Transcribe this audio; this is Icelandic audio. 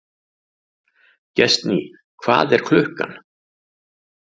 Gestný, hvað er klukkan?